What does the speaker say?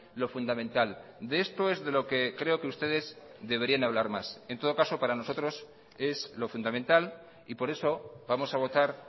lo fundamental de esto es de lo que creo que ustedes deberían hablar más en todo caso para nosotros es lo fundamental y por eso vamos a votar